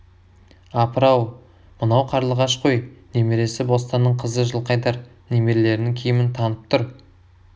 апыр-ау мынау қарлығаш қой немересі бостанның қызы жылқайдар немерелерінің киімін танып тұр